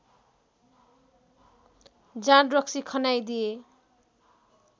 जाँडरक्सी खन्याइदिए